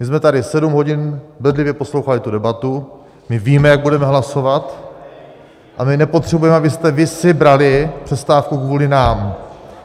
My jsme tady sedm hodin bedlivě poslouchali tu debatu, my víme, jak budeme hlasovat, a my nepotřebujeme, abyste vy si brali přestávku kvůli nám.